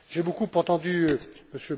J'ai beaucoup entendu M.